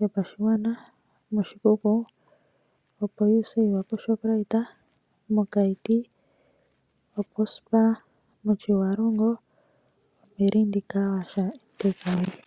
yopashigwana. Moshikuku opo Usave Shoprite. Mo Kayiti opo Spar. Moshiwalongo Opelindi mpoka hapu yogwa oohauto.